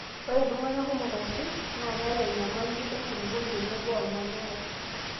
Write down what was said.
ore iltunganak kumok aisul naa keyau enyamali enkuluponi tenebo olmanyara.